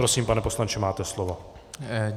Prosím, pane poslanče, máte slovo.